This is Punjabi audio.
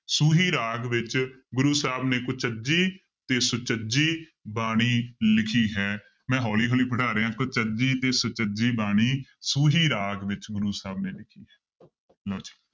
ਸੂਹੀ ਰਾਗ ਵਿੱਚ ਗੁਰੂ ਸਾਹਿਬ ਨੇ ਕੁਚਜੀ ਤੇ ਸੁਚਜੀ ਬਾਣੀ ਲਿਖੀ ਹੈ ਮੈਂ ਹੌਲੀ ਹੌਲੀ ਪੜ੍ਹਾ ਰਿਹਾਂ ਕੁਚਜੀ ਤੇ ਸੁਚਜੀ ਬਾਣੀ ਸੂਹੀ ਰਾਗ ਵਿੱਚ ਗੁਰੂ ਸਾਹਿਬ ਨੇ ਲਿਖੀ ਹੈ ਲਓ ਜੀ